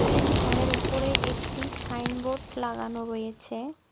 ATM ঘরের ওপরে একটি সাইনবোর্ড লাগানো রয়েছে।